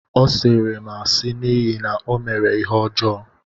Ọ sịịrị m asị n’ihi na ọ mere ihe ọjọọ